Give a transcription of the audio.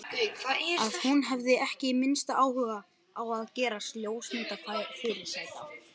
Að hún hafi ekki minnsta áhuga á að gerast ljósmyndafyrirsæta.